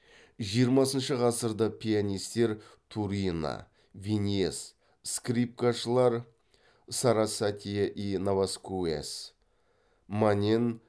жиырмасыншы ғасырда пианистер турина виньес скрипкашылар сарасате и наваскуэс манен